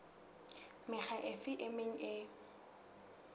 mekga efe e meng e